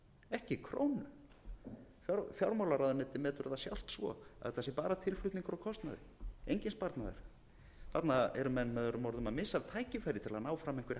ekki krónu fjármálaráðuneytið metur það sjálft svo að þetta sé bara tilflutningur á kostnaði enginn sparnaður þarna eru menn möo að missa af tækifæri til